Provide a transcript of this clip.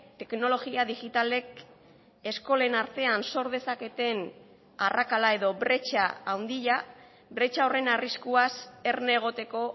teknologia digitalek eskolen artean sor dezaketen arrakala edo bretxa handia bretxa horren arriskuaz erne egoteko